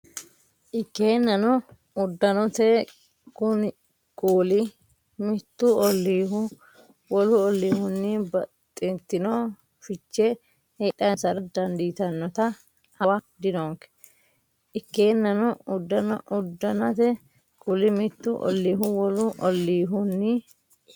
Ikkeennano, uddannate kuuli mittu olliihu wolu olliihunni baxxtino fiche heedhansara dandiitannota hawa dinonke Ikkeennano, uddannate kuuli mittu olliihu wolu olliihunni.